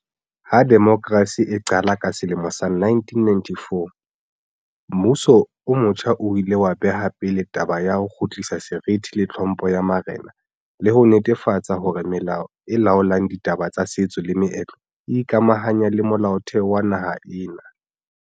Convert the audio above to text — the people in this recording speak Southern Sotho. Ha demokrasi e qala ka sele mo sa 1994, mmuso o motjha o ile wa beha pele taba ya ho kgutlisa seriti le tlhompho ya marena le ho netefatsa hore melao e laolang ditaba tsa setso le meetlo e ikamahanya le Molaotheo wa naha ena.